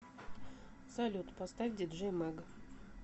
салют поставь диджей мэг